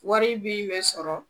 Wari min be sɔrɔ